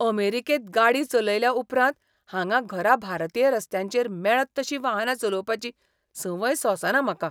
अमेरिकेंत गाडी चलयल्या उपरांत, हांगा घरा भारतीय रस्त्यांचेर मेळत तशीं वाहनां चलोवपाची संवय सोंसना म्हाका.